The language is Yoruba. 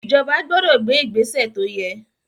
Ìjọba gbọdọ̀ gbé ìgbésè tó yẹ.